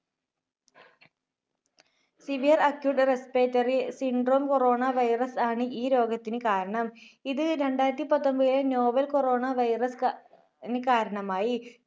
Severe Acute Respiratory Syndrome Corona virus ആണ് ഈ രോഗത്തിന് കാരണം. ഇത് രണ്ടായിരത്തിപത്തൊൻപത്തിലെ novel corona virus ~ന് കാരണമായി.